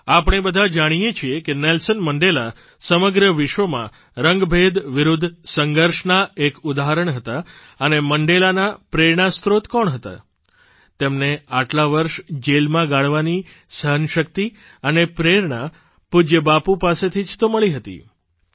આપણે બધાં જાણીએ છીએ કે નેલ્સન મંડેલા સમગ્ર વિશ્વમાં રંગભેદ વિરૂદ્ધ સંઘર્ષના એક ઉદાહરણ હતા અને મંડેલાના પ્રેરણાસ્ત્રોત કોણ હતા તેમને આટલાં વર્ષ જેલમાં ગાળવાની સહનશક્તિ અને પ્રેરણા પૂજય બાપુ પાસેથી જ તો મળી હતી